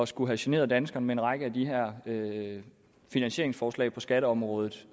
skulle have generet danskerne med en række af de her finansieringsforslag på skatteområdet